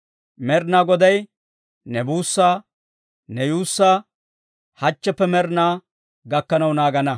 Med'inaa Goday ne buussaa, ne yuussaa, hachcheppe med'inaa gakkanaw naagana.